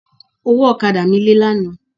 Ọwọ́ ọ̀kadà mi lé lánàá.